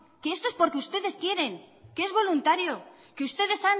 que esto es porque ustedes quieren que es voluntario que ustedes